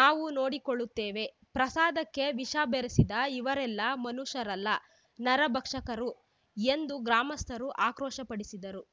ನಾವು ನೋಡಿಕೊಳ್ಳುತ್ತೇವೆ ಪ್ರಸಾದಕ್ಕೆ ವಿಷ ಬೆರೆಸಿದ ಇವೆರಲ್ಲ ಮನುಷ್ಯರಲ್ಲ ನರಭಕ್ಷಕರು ಎಂದು ಗ್ರಾಮಸ್ಥರು ಆಕ್ರೋಶಪಡಿಸಿದರು